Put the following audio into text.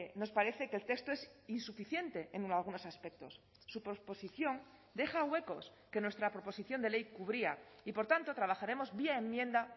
nos parece que el texto es insuficiente en algunos aspectos su posposición deja huecos que nuestra proposición de ley cubría y por tanto trabajaremos vía enmienda